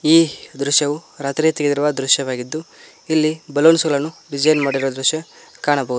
ಈ ದೃಶ್ಯವೂ ರಾತ್ರಿ ತೆಗೆದಿರುವ ದೃಶ್ಯವಾಗಿದ್ದು ಇಲ್ಲಿ ಬಲೂನ್ಸ್ ಗಳನು ಡಿಸೈನ್ ಮಾಡಿರುವ ದೃಶ್ಯ ಕಾಣಬಹುದು.